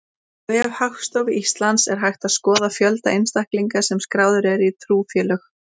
Á vef Hagstofu Íslands er hægt að skoða fjölda einstaklinga sem skráðir eru í trúfélög.